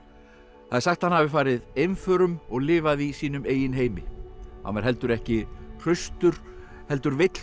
það er sagt að hann hafi farið einförum og lifað í sínum eigin heimi hann var heldur ekki hraustur heldur veill fyrir